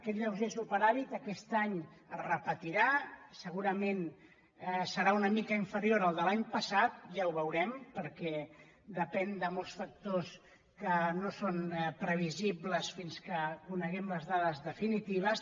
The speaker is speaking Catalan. aquest lleuger superàvit aquest any es repetirà segurament serà una mica inferior al de l’any passat ja ho veu·rem perquè depèn de molts factors que no són previ·sibles fins que coneguem les dades definitives